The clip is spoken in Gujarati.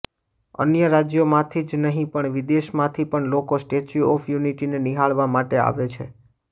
અન્ય રાજ્યોમાંથી જ નહીં પણ વિદેશમાંથી પણ લોકો સ્ટેચ્યુ ઓફ યુનિટીને નિહાળવા માટે આવે છે